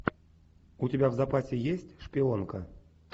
у тебя в запасе есть шпионка